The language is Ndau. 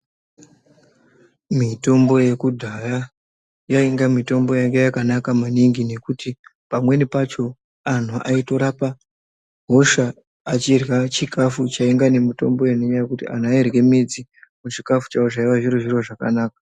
Mitombo yekudhaya yainga mutombo yanga yakanaka maningi ngekuti pamweni pacho antu aitorapa hosha achirya chikafu chainga nemutombo yainyaya kuti antu airye midzi muchikagu chawo zvaiwe zviri zviro zvakanaka.